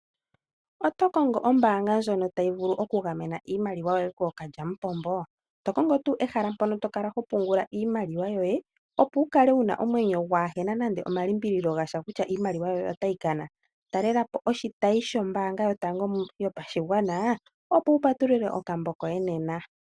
Oto kongo ombaanga ndjono tayi vulu oku gamena iimaliwa yoye kookalyampombo, to kongo ehala mpono to kala ho pungula iimaliwa yoye opo waakale wuna omwenyo gwalimbililwa kutya iimaliwa otayi kana. Talelapo oshitayi shombaanga yopashigwana wupatulule okambo koye nena.